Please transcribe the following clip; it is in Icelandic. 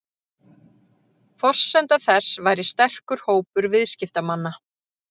Forsenda þess væri sterkur hópur viðskiptamanna